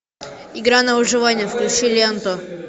игра на выживание включи ленту